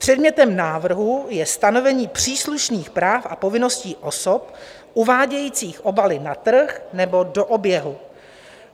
Předmětem návrhu je stanovení příslušných práv a povinností osob uvádějících obaly na trh nebo do oběhu.